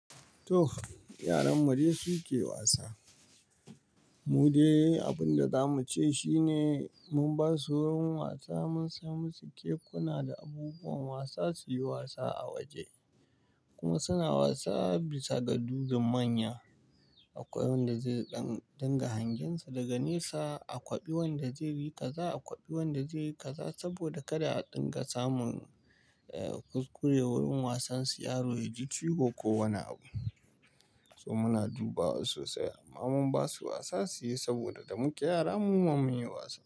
Toh yaran mu dai su ke wasa. Mu dai abin da zamu ce shine mun ba su wurin wasa, mun samo musu kekuna da abubuwan wasa su yi wasa a waje. Kuma suna wasa bisa ga duhun manya. Akwai wanda zai ɗinga hangensa daga nesa, aƙwaɓi wanda zai yi kaza, aƙwaɓi wanda zai yi kaza. Saboda kada a ɗinga samun kur wurin wasan su yaro ya ji ciwo ko wani abu. To muna dubawa sosai. Amma mun ba su wasa su yi saboda da muka yara mu ma mun yi wasa.